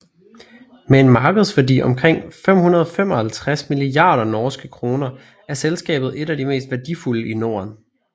Med en markedsværdi omkring 555 milliarder norske kroner er selskabet et af de mest værdifulde i norden